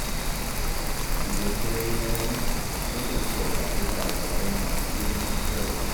Idan dare ya yi, na kan saurari labarai masu ilmantarwa.